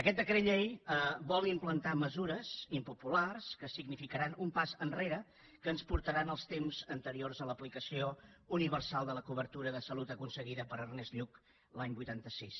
aquest decret llei vol implantar mesures impopulars que significaran un pas enrere que ens portaran als temps anteriors a l’aplicació universal de la cobertura de salut aconseguida per ernest lluch l’any vuitanta sis